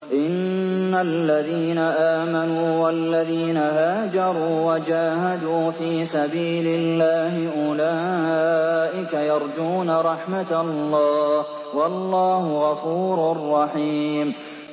إِنَّ الَّذِينَ آمَنُوا وَالَّذِينَ هَاجَرُوا وَجَاهَدُوا فِي سَبِيلِ اللَّهِ أُولَٰئِكَ يَرْجُونَ رَحْمَتَ اللَّهِ ۚ وَاللَّهُ غَفُورٌ رَّحِيمٌ